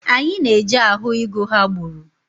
Anyị na-eje ahụ ịgụ ha gbụrụ.